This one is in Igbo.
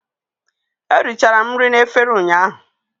Eri chara m nri na efere ụnyaahụ